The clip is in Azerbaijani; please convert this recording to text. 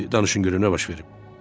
Hə, indi danışın görüm nə baş verib.